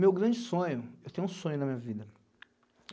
Meu grande sonho, eu tenho um sonho na minha vida.